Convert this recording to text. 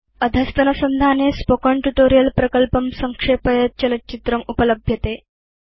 अधस्तनसंधाने spoken tutorial project संक्षेपयत् चलच्चित्रम् उपलभ्यते